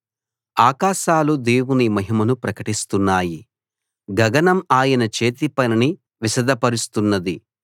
ఆకాశాలు దేవుని మహిమను ప్రకటిస్తున్నాయి గగనం ఆయన చేతి పనిని విశదపరుస్తున్నది